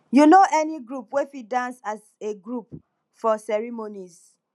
you no any group wey fit dance as a group for ceremonies